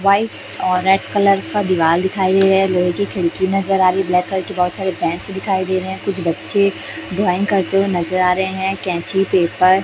White और red colour का दीवाल दिखाई दे रहा है। लोहे की खिड़की नजर आ रही ब्लैक कलर की बहोत सारी बेंच दिखाई दे रहें हैं। कुछ बच्चे ड्राइंग करते हुए नजर आ रहे हैं। कैंची पेपर --